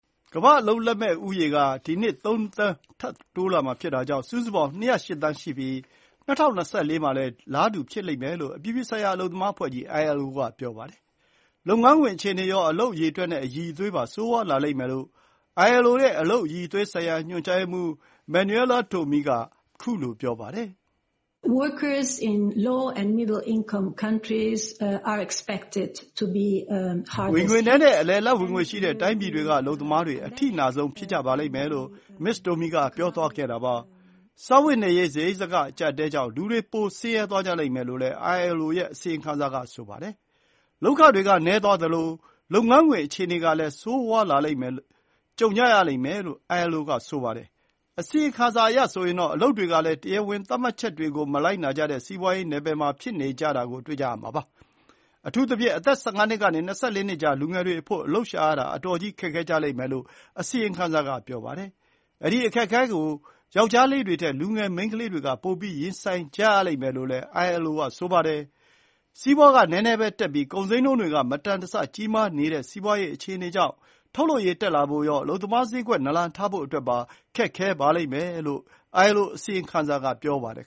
ကမ္ဘာ့ အလုပ်လက်မဲ့ လူဦးရေ က ဒီနှစ် ၃ သန်း ထပ်တိုးလာမှာဖြစ်တာကြောင့် စုစုပေါင်း ၂၀၈ သန်း ရှိပြီး ၂၀၂၄ မှာလည်း အလားတူ ဖြစ်လိမ့်မယ်လို့ အပြည်ပြည်ဆိုင်ရာ အလုပ်သမား အဖွဲ့ကြီး ILO က ပြောပါတယ်။ လုပ်ငန်းခွင် အခြေအနေရော၊ အလုပ် အရေအတွက် နဲ့ အရည်အသွေးပါ ဆိုးဝါးလာလိမ့်မယ်လို့ ILO ရဲ့ အလုပ်အရည်အသွေး ဆိုင်ရာ ညွှန်ကြားရေးမှူး Manuela Tomei က ပြောပါတယ်။ “ဝင်ငွေနည်း နဲ့ အလယ်အလတ် ဝင်ငွေ ရှိတဲ့ တိုင်းပြည်တွေ က အလုပ်သမားတွေ အထိနာဆုံး ဖြစ်ကြပါလိမ့်မယ်” လို့ မစ္စ တိုမီ က ပြောသွားတာပါ။ စားဝတ်နေရေး စားရိတ်စားခ အကျပ်အတည်းကြောင့် လူတွေ ပို ဆင်းရဲသွားကြလိမ့်မယ် လို့လည်း ILO ရဲ့ အစီရင်ခံစာ က ဆိုပါတယ်။ လုပ်ခတွေ က နည်းသွားသလို၊ လုပ်ငန်းခွင် အခြေအနေကလည်း ဆိုးလာတာ ကြုံကြရလိမ့်မယ်လို့ ILO က ပြောပါတယ်။ အစီရင်ခံစာအရဆိုရင်တော့ အလုပ်တွေကလည်း တရားဝင် သတ်မှတ်ချက်တွေ ကို မလိုက်နာကြတဲ့ စီးပွါးရေး နယ်ပယ် မှာ ဖြစ်နေကြတာ ကို တွေ့ကြရမှာပါ။ အထူးသဖြင့် အသက် ၁၅ နှစ်ကနေ ၂၄ နှစ်ကြား လူငယ်တွေအဖို့ အလုပ်ရှာရတာ အတော်ကြီး ခက်ခဲကြလိမ့်မယ်လို့ အစီရင်ခံစာ က ပြောပါတယ်။ အဲဒီ အခက်အခဲ ကို ယောကျ်ားလေးတွေထက် လူငယ် မိန်းခလေးတွေ က ပိုပြီး ရင်ဆိုင်ကြရမယ်လို့လည်း ILO က ပြောပါတယ်။ စီးပွါး က နည်းနည်းပဲ တက်ပြီး၊ ကုန်ဈေးနှုန်းတွေ က မတန်တဆ ကြီးမားနေတဲ့ စီးပွါးရေး အခြေအနေကြောင့် ထုတ်လုပ်ရေး တက်လာဖို့ရော၊ အလုပ်သမား ဈေးကွက် နာလန်ထဖို့အတွက်ပါ ခက်ခဲပါမယ်လို့ ILO အစီရင်ခံစာ က ဆိုပါတယ်